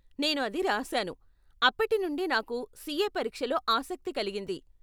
నేను అది రాశాను, అప్పటి నుండి నాకు సీఏ పరీక్షలో ఆసక్తి కలిగింది.